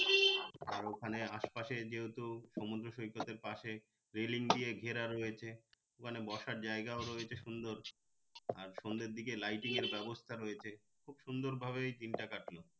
আর ওখানে আশপাশে যেহেতু সমুদ্র সৈকতের পাশে railing দিয়ে ঘেরা রয়েছে মানে বসার জায়গা রয়েছে সুন্দর আর সন্ধ্যের দিকে lighting এর ব্যাবস্থা রয়েছে খুব সুন্দর ভাবেই দিন টা কাটলো